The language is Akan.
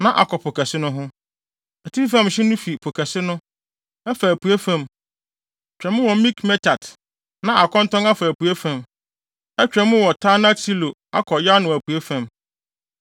na akɔ Po Kɛse no ho. Atifi fam hye no fi Po Kɛse no, ɛfa apuei fam, twa mu wɔ Mikmetat, na akɔntɔn afa apuei fam, atwa mu wɔ Taanat-Silo akɔ Yanoa apuei fam.